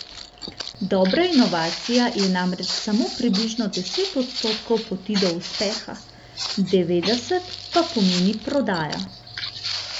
Dobra inovacija je namreč samo približno deset odstotkov poti do uspeha, devetdeset pa pomeni prodaja.